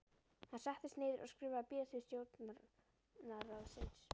Hann settist niður og skrifaði bréf til stjórnarráðsins.